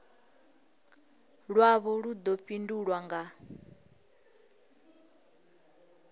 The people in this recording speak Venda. lwavho lu ḓo fhindulwa nga